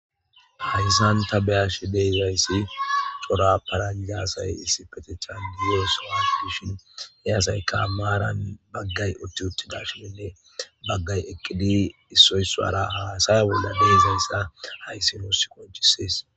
Haysa ta beyashe dizaysi c'ora paranja asay issippetetha diyosowa dishin he asayka maran bagay utti uttidi deyishin baga eqidi issoy issara hasaya bolla de'izaysa haysi nussi qonc'ises